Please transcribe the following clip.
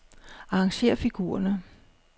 Arrangér figurerne.